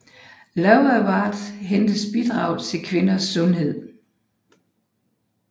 Love Award hendes bidrag til kvinders sundhed